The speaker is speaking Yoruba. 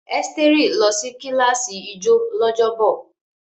Esteri lọ sí kíláàsì ijó lọ́jọ́bọ̀.